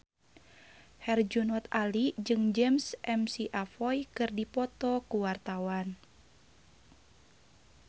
Herjunot Ali jeung James McAvoy keur dipoto ku wartawan